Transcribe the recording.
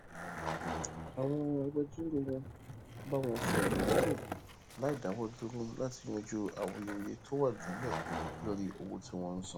àwọn agbẹjórò wọn bá wọn fèròwérò láìdáwódúró láti yanjú awuyewuye tó wà nílè lórí owó tí wón ń san